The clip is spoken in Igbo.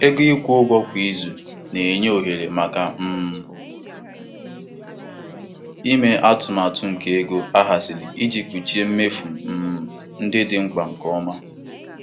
Ọtụtụ ndị um ọrụ na-adabere na um ụgwọ ọrụ ha ana-akwụ kwa izu ma ọ bụ kwa izu abụọ iji kpuchie mmefu ndị dị mkpa tupu ruo mgbe ịkwụ ụgwọ ọzọ rutere. um